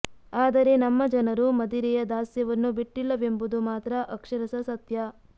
ಆದರೆ ನಮ್ಮ ಜನರು ಮದಿರೆಯ ದಾಸ್ಯವನ್ನು ಬಿಟ್ಟಿಲ್ಲವೆಂಬುದು ಮಾತ್ರ ಅಕ್ಷರಶಃ ಸತ್ಯ